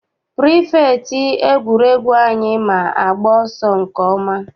Pirifektị egwuregwu anyị ma agba ọsọ nke ọma.